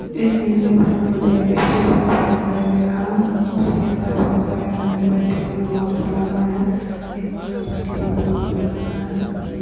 इस इमेज में मुझे एक स्टेशन सा दिखाई दे रहा है उसके अंदर बहुत सरे आदमी बेठे हुए है मास्क लगाए है एक औरत बैठी वो भी मास्क लगाए है।